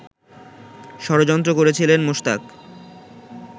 ষড়যন্ত্র করেছিলেন মোশতাক